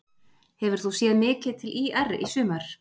Hefur þú séð mikið til ÍR í sumar?